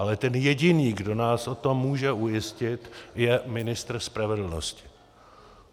Ale ten jediný, kdo nás o tom může ujistit, je ministr spravedlnosti.